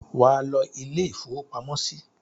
Wà á lọ ilé-ìfowópamọ́sí!